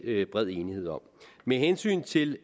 bred enighed om med hensyn til